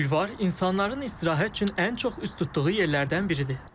Bulvar insanların istirahət üçün ən çox üz tutduğu yerlərdən biridir.